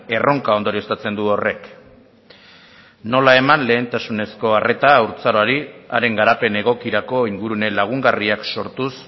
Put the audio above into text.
erronka ondorioztatzen du horrek nola eman lehentasunezko arrera haurtzaroari haren garapen egokirako ingurune lagungarriak sortuz